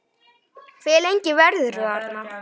Hve lengi verður þú þarna?